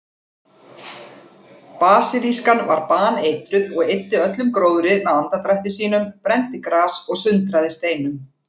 Basilískan var baneitruð og eyddi öllum gróðri með andardrætti sínum, brenndi gras og sundraði steinum.